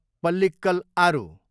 पल्लिक्कल आरु